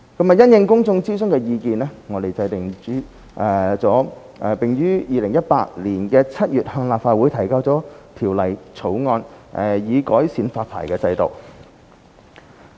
因應公眾諮詢的意見，我們制定了並於2018年7月向立法會提交《條例草案》，以改善發牌制度。